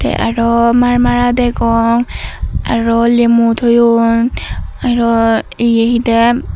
te aro marmara degong aro lemu toyon aro ye hidey.